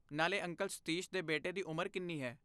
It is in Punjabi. ਨਾਲੇ ਅੰਕਲ ਸਤੀਸ਼ ਦੇ ਬੇਟੇ ਦੀ ਉਮਰ ਕਿੰਨੀ ਹੈ?